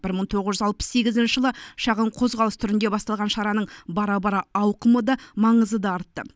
бір мың тоғыз жүз алпыс сегізінші жылы шағын қозғалыс түрінде басталған шараның бара бара ауқымы да маңызы да артты